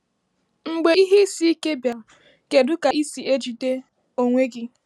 Mgbe ihe isi ike bịara, kedu ka ị si ejide onwe gị?